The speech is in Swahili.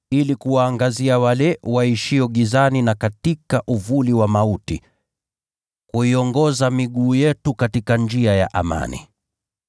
ili kuwaangazia wale waishio gizani na katika uvuli wa mauti, kuiongoza miguu yetu katika njia ya amani.”